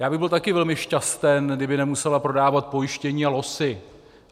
Já bych byl taky velmi šťasten, kdyby nemusela prodávat pojištění a losy.